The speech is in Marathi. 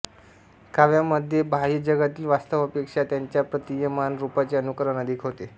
काव्यामध्ये बाह्य जगातील वास्तवापेक्षा त्याच्या प्रतीयमान रूपाचे अनुकरण अधिक होते